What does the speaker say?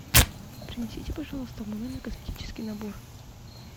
принесите пожалуйста в мой номер косметический набор